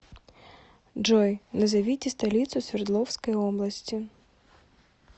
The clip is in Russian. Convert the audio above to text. джой назовите столицу свердловской области